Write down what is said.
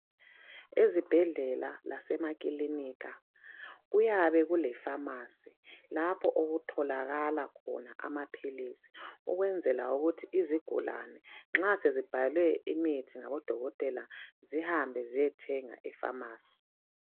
Ezibhedlela lasemakilinika kuyabe kuleFamasi lapho okutholakala khona amaphilisi ukwenzela ukuthi izigulane nxa sezibhalelwe imithi ngabodokotela zihambe ziyethenga eFamasi.